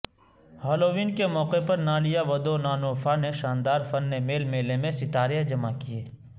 Halloween کے موقع پر نالیا ودونانوفا نے شاندار فن میل میلے میں ستارے جمع کیے